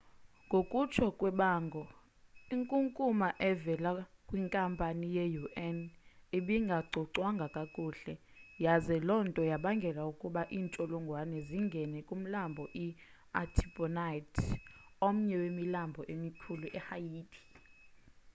ngokutsho kwebango inkunkuma evela kwinkampu ye-un ibingacocwanga kakuhle yaze loo nto yabangela ukuba iintsholongwane zingene kumlambo i-artibonite omnye wemilambo emikhulu ehaiti